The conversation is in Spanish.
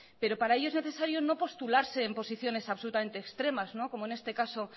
pero para ello es necesaria no postularse en posiciones absolutamente extremas como en este caso